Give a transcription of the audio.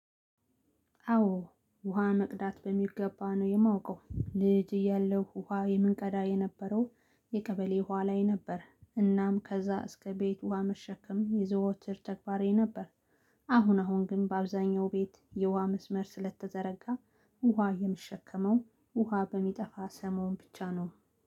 አዎ ውሃ መቅዳት በሚገባ ነው የማውቀው ልጅ እያለው ውሃ የምንቀዳ የነበረው የቀበሌ ውሃ ላይ ነበር እናም ከዛ እስከ ቤት ውሃ መሸከም የዘወትር ተግባሬ ነበር። አሁን አሁን ግን በአብዛኛው ቤት የውሃ መስመር ስለተዘረጋ ውሃ የምሸከመው ውሃ በሚጠፋ ሰሞን ብቻ ነው